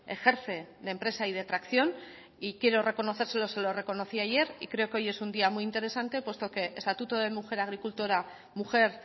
ejerce de empresa y de tracción y quiero reconocérselo se lo reconocí ayer y creo que hoy es un día muy interesante puesto que estatuto de mujer agricultora mujer